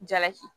Jalaki